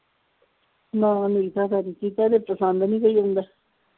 ਨਾ ਨੀਤਾ ਪਸੰਦ ਨਹੀਂ ਕੋਈ ਆਉਂਦਾ।